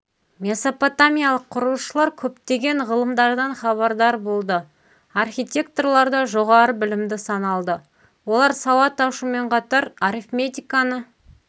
месопотамиялық құрылысшылар көптеген ғылымдардан хабардар болды архитекторлар да жоғары білімді саналды олар сауат ашумен қатар арифметиканы